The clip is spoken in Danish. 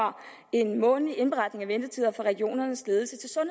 en månedlig indberetning af ventetider fra regionernes ledelser